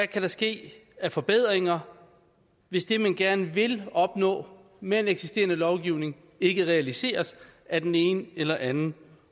kan ske af forbedringer hvis det man gerne vil opnå med en eksisterende lovgivning ikke realiseres af den ene eller anden